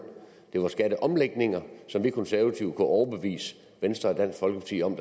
det var skatteomlægninger som vi konservative kunne overbevise venstre og dansk folkeparti om